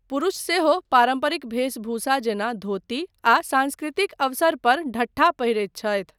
पुरुष सेहो पारम्परिक भेषभूषा जेना धोती आ सांस्कृतिक अवसरपर ढट्ठा पहिरैत छथि।